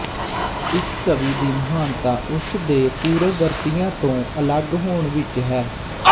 ਇੱਕ ਕਵੀ ਦੀ ਮਹਾਨਤਾ ਉਸ ਦੇ ਪੂਰਵ ਵਰਤੀਆਂ ਤੋ ਅਲੱਗ ਹੋਣ ਵਿੱਚ ਹੈ